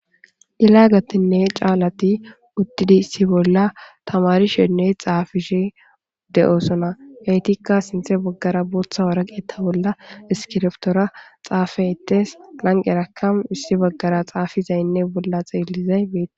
Yelaagatinne caalati uttidi issi bolla tamarishenne xaafishe de7osona gaytikka sinthe baggara bootha waragetta bolla iskiriftora xaafa ettes lanqerakam wissi baggara xaafizaynne bolla xeelizay meeti